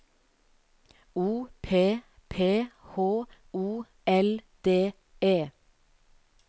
O P P H O L D E